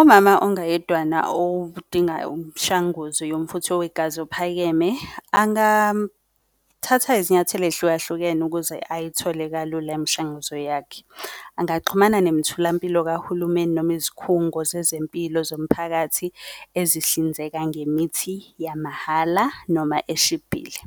Umama ongayedwana odinga umshanguzo yomfutho wegazi ophakeme, angathatha izinyathelo eyihlukahlukene ukuze ayithole kalula imishanguzo yakhe. Angaxhumana nemitholampilo kahulumeni noma izikhungo zezempilo zomphakathi ezihlinzeka ngemithi yamahhala noma eshibhile.